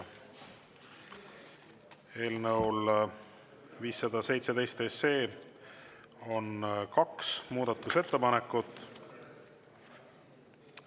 Eelnõu 517 kohta on tehtud kaks muudatusettepanekut.